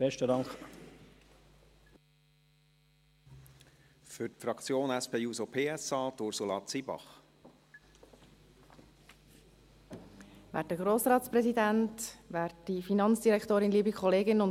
Aber dieser Motion in der vorliegenden Form stimmt die Mehrheit meiner Fraktion nicht zu.